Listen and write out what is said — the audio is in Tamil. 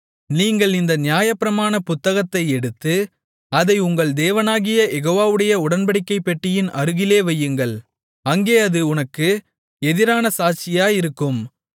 நீங்கள் இந்த நியாயப்பிரமாண புத்தகத்தை எடுத்து அதை உங்கள் தேவனாகிய யெகோவாவுடைய உடன்படிக்கைப் பெட்டியின் அருகிலே வையுங்கள் அங்கே அது உனக்கு எதிரான சாட்சியாயிருக்கும்